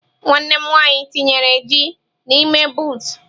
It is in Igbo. Nwanne m nwanyi tinyere ji n'ime buutụ.